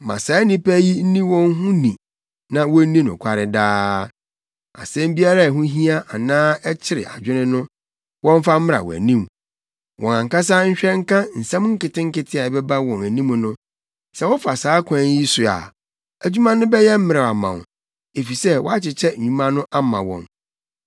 Ma saa nnipa yi nni wɔn ho ni na wonni nokware daa. Asɛm biara a ɛho hia anaa ɛkyere adwene no, wɔmfa mmra wʼanim. Wɔn ankasa nhwɛ nka nsɛm nketenkete a ɛbɛba wɔn anim no. Sɛ wofa saa kwan yi so a, adwuma no bɛyɛ mmerɛw ama wo, efisɛ woakyekyɛ nnwuma no ama wɔn.